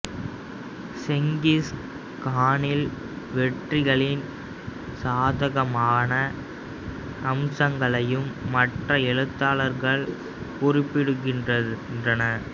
Genghis கானின் வெற்றிகளின் சாதகமான அம்சங்களையும் மற்ற எழுத்தாளர்கள் குறிப்பிடுகின்றனர்